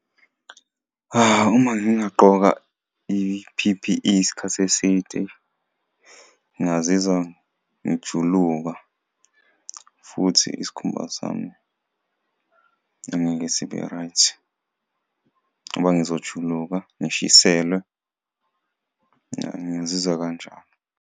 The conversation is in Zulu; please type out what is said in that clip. Uma ngingagqoka i-P_P_E isikhathi eside ngazizwa ngijuluka futhi isikhumba sami angeke sibe-right ngoba ngizojuluka, ngishiselwe. Ya, ngazizwa kanjalo.